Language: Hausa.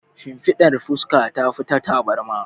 shinfiɗar fuska ta fi ta tabarma